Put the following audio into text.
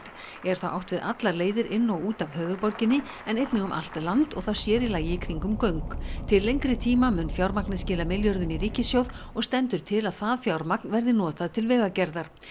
er þá átt við allar leiðir inn og út af höfuðborginni en einnig um allt land og þá sér í lagi í kringum göng til lengri tíma mun fjármagnið skila milljörðum í ríkissjóð og stendur til að það fjármagn verði notað til vegagerðar